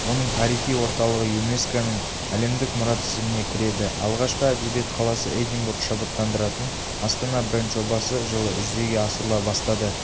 оның тарихи орталығы юнеско-ның әлемдік мұра тізіміне кіреді алғашқы әдебиет қаласы эдинбург шабыттандыратын астана бренд-жобасы жылы жүзеге асырыла бастады